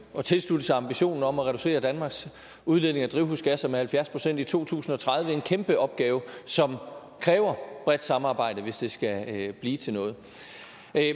at tilslutte sig ambitionen om at reducere danmarks udledning af drivhusgasser med halvfjerds procent i to tusind og tredive en kæmpe opgave som kræver bredt samarbejde hvis det skal blive til noget